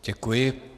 Děkuji.